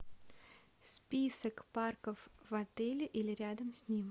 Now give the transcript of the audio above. список парков в отеле или рядом с ним